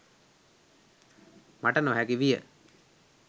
මට නොහැකි විය.